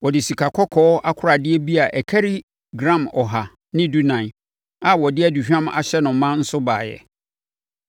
Ɔde sikakɔkɔɔ akoradeɛ bi a ɛkari gram ɔha ne dunan (114) a wɔde aduhwam ahyɛ no ma nso baeɛ.